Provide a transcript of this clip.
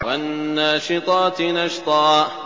وَالنَّاشِطَاتِ نَشْطًا